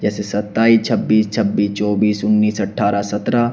जैसे सत्ताईस छब्बीस छब्बीस चौबीस उन्नीस अठारह सत्रह --